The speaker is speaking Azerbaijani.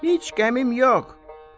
Heç qəmim yox.